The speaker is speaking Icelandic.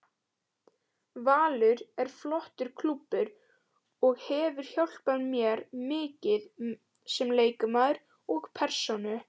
Valur er flottur klúbbur og hefur hjálpað mér mikið sem leikmaður og persónu.